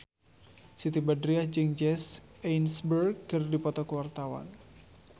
Siti Badriah jeung Jesse Eisenberg keur dipoto ku wartawan